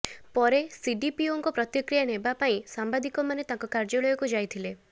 ପରେ ସିଡିପିଓଙ୍କ ପ୍ରତିକ୍ରିୟା ନେବାପାଇଁ ସାମ୍ବାଦିକ ମାନେ ତାଙ୍କ କାର୍ଯ୍ୟଳୟକୁ ଯାଇଥିଲେ